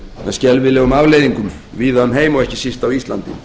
með skelfilegum afleiðingum víða um heim og ekki síst á íslandi